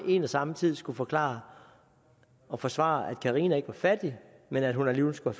en og samme tid skulle forklare og forsvare at carina ikke var fattig men at hun alligevel skulle